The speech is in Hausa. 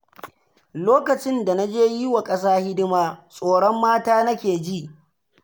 Lokacin da na je yi wa ƙasa hidima, tsoron mata nake ji.